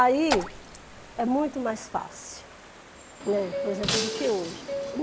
Aí é muito mais fácil, né, por exemplo, do que hoje.